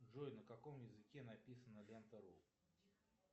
джой на каком языке написана лента ру